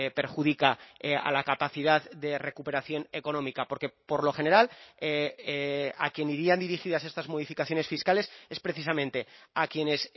perjudica a la capacidad de recuperación económica porque por lo general a quien irían dirigidas estas modificaciones fiscales es precisamente a quienes